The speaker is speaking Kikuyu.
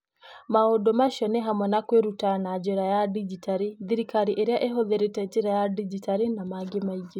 Maũndũ macio nĩ hamwe na kwĩruta na njĩra ya digitali, thirikari ĩrĩa ĩhũthĩrĩte njĩra ya digitali, na mangĩ maingĩ.